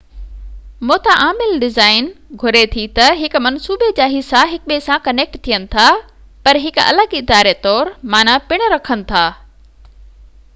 متعامل design گهري ٿي ته هڪ منصوبي جا حصا هڪ ٻئي سان ڪنيڪٽ ٿين ٿا، پر هڪ الڳ اداري طور معنيٰ پن رکن ٿا